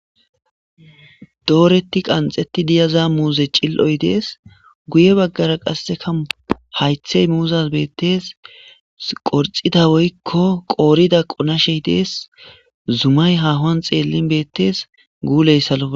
dooretti qanxeti diyaza muuze cil7oy dees guye baggara qasseka haythey muuzas beetteess qorxida woykko qoorida qonashey dees zumay hahoan xeellin beettes guuley salo